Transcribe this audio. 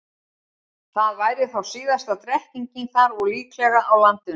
Það væri þá síðasta drekkingin þar og líklega á landinu.